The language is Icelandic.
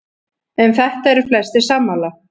Um þetta eru flestir sammála.